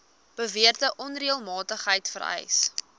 beweerde onreëlmatigheid vereis